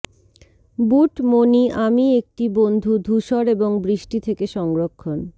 বুট মোনি আমি একটি বন্ধু ধূসর এবং বৃষ্টি থেকে সংরক্ষণ